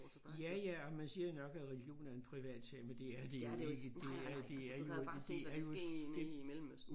Ja ja og man siger nok at religion er en privatsag men det er det jo ikke det er det er jo det er jo et et